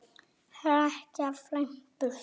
hrekja, flæma burt